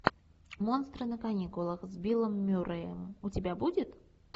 монстры на каникулах с биллом мюрреем у тебя будет